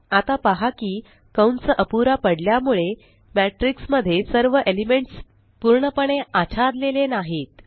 आता पहा की कंस अपुरा पडल्यामुळे मॅटिर्क्स मध्ये सर्व एलिमेंट्स पूर्णपणे आच्छादलेले नाहीत